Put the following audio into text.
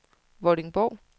Vordingborg